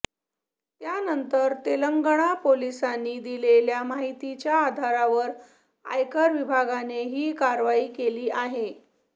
त्यानंतर तेलंगणा पोलिसांनी दिलेल्या माहितीच्या आधारावर आयकर विभागाने ही कारवाई केली आहे